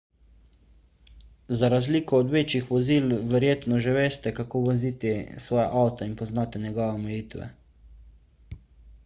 za razliko od večjih vozil verjetno že veste kako voziti svoj avto in poznate njegove omejitve